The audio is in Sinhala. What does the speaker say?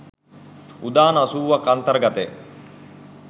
උදාන අසූවක් අන්තර්ගත ය